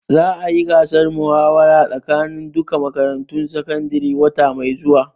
Za a yi gasar muhawara tsakanin duka makarantun sakandare wata mai zuwa